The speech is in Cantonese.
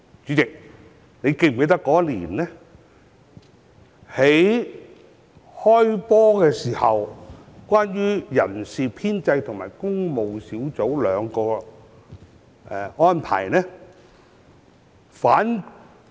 主席，你是否記得那年"開波"的時候，人事編制和工務兩個小組委員會的情況？